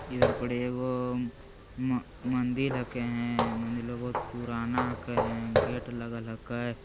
इधर पड़े एगो म मंदिर हके है मंदिर रो बहुत पुराना हके है गेट लागल हके।